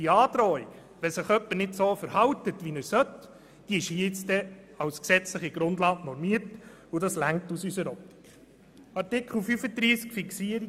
Die Androhung ist als gesetzliche Grundlage normiert, wenn sich jemand nicht so verhält, wie er sollte, und das ist aus unserer Sicht ausreichend.